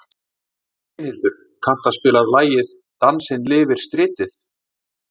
Brynhildur, kanntu að spila lagið „Dansinn lifir stritið“?